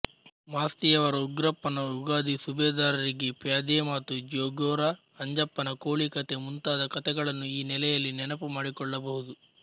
ಮಾಸ್ತಿಯವರ ಉಗ್ರಪ್ಪನ ಉಗಾದಿ ಸುಬೇದಾರರಿಗೆ ಪ್ಯಾದೆಮಾತು ಜ್ಯೋಗೋರ ಅಂಜಪ್ಪನ ಕೋಳಿಕತೆ ಮುಂತಾದ ಕತೆಗಳನ್ನು ಈ ನೆಲೆಯಲ್ಲಿ ನೆನಪು ಮಾಡಿಕೊಳ್ಳಬಹುದು